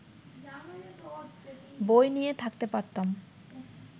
বই নিয়ে থাকতে পারতাম